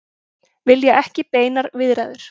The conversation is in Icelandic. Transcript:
Vilja ekki beinar viðræður